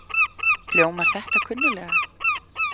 Hljómar þetta kunnulega?